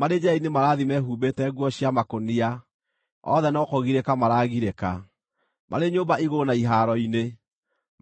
Marĩ njĩra-inĩ marathiĩ mehumbĩte nguo cia makũnia; othe no kũgirĩka maragirĩka marĩ nyũmba igũrũ na ihaaro-inĩ,